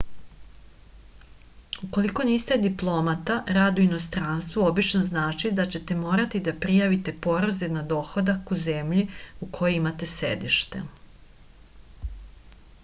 ukoliko niste diplomata rad u inostranstvu obično znači da ćete morati da prijavite porez na dohodak u zemlji u kojoj imate sedište